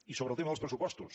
i sobre el tema dels pressupostos